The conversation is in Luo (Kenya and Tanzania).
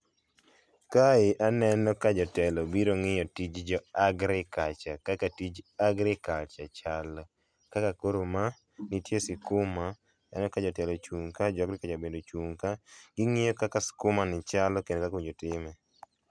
Kae aneno ka jatelo biro ng’iyo tij jo agriculture kaka tij agriculture chalo. Kaka koro ma nitie sikuma, aneno ka jatelo ochung ka ja agriculture bende ochung ka gingiyo kaka sikuma ni chalo kendo ji time.